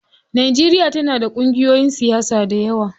Najeriya tana da ƙungiyoyin siyasa dayawa.